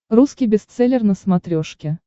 русский бестселлер на смотрешке